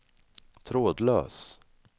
trådlös